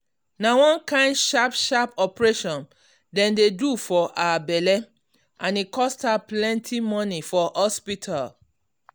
na one kain sharp sharp operation dem do for her belle and e cost her plenty money for hospital.